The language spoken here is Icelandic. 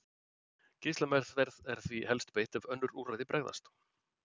Geislameðferð er því helst beitt ef önnur úrræði bregðast.